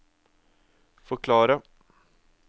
forklare